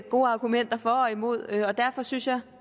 gode argumenter for og imod og derfor synes jeg